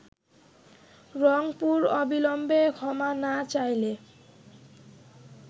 রংপুর অবিলম্বে ক্ষমা না চাইলে